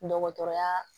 Dɔgɔtɔrɔya